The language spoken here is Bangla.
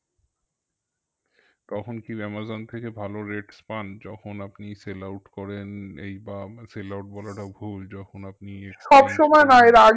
তখন কি আমাজন থেকে ভালো rates পান যখন আপনি sell out করেন এই বা sell out বলাটা ভুল যখন আপনি